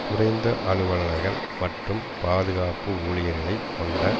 குறைந்த அலுவலர்கள் மற்றும் பாதுகாப்பு ஊழியர்களைக் கொண்ட